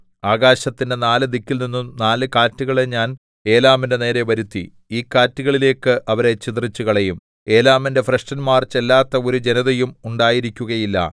ആകാശത്തിന്റെ നാല് ദിക്കിൽനിന്നും നാല് കാറ്റുകളെ ഞാൻ ഏലാമിന്റെ നേരെ വരുത്തി ഈ കാറ്റുകളിലേക്ക് അവരെ ചിതറിച്ചുകളയും ഏലാമിന്റെ ഭ്രഷ്ടന്മാർ ചെല്ലാത്ത ഒരു ജനതയും ഉണ്ടായിരിക്കുകയില്ല